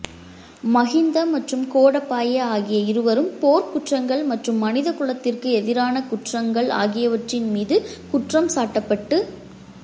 மகிந்த மற்றும் கோடபாய ஆகிய இருவரும் போர்க் குற்றங்கள் மற்றும் மனிதகுலத்திற்கு எதிரான குற்றங்கள் ஆகியவற்றின் மீது குற்றம் சாட்டப்பட்டு